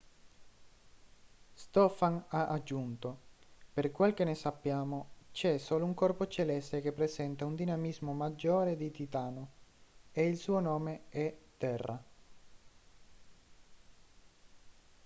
stofan ha aggiunto per quel che ne sappiamo c'è solo un corpo celeste che presenta un dinamismo maggiore di titano e il suo nome è terra